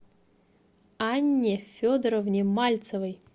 анне федоровне мальцевой